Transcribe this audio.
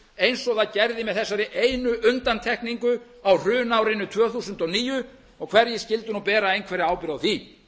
eins og það gerði með þessari einu undantekningu á hrunárinu tvö þúsund og níu hverjir skyldu nú bera einhverja ábyrgð